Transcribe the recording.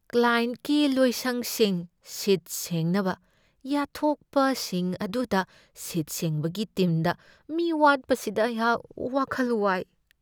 ꯀ꯭ꯂꯥꯌꯦꯟꯠꯀꯤ ꯂꯣꯏꯁꯪꯁꯤꯡ ꯁꯤꯠ ꯁꯦꯡꯅꯕ ꯌꯥꯠꯊꯣꯛꯄꯁꯤꯡ ꯑꯗꯨꯗ ꯁꯤꯠ ꯁꯦꯡꯕꯒꯤ ꯇꯤꯝꯗ ꯃꯤ ꯋꯥꯠꯄꯁꯤꯗ ꯑꯩꯍꯥꯛ ꯋꯥꯈꯜ ꯋꯥꯏ꯫